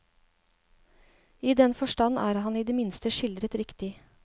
I den forstand er han i det minste skildret riktig.